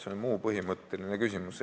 See on muu põhimõtteline küsimus.